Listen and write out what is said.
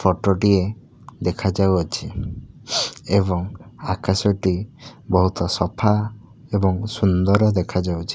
Photo ଟିଏ ଦେଖା ଯାଉଅଛି ଏବଂ ଆକାଶଟି ବହୁତ ସଫା ଏବଂ ସୁନ୍ଦର ଦେଖାଯାଉଛି।